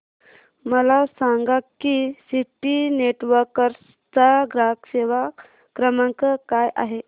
मला सांगा की सिटी नेटवर्क्स चा ग्राहक सेवा क्रमांक काय आहे